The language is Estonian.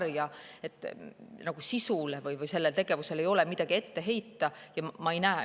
Nende korraldatud kampaaniate sisule või liidu tegevusele ei ole midagi ette heita.